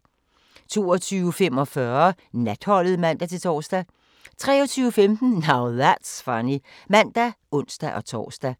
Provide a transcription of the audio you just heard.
22:45: Natholdet (man-tor) 23:15: Now That's Funny (man og ons-tor)